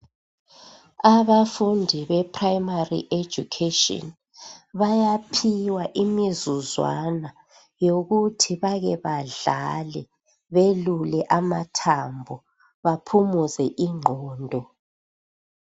Abafundi be primary education bayaphiwa imizuzwana yokuthi bake badlale belule amathambo baphumuze ingqondo.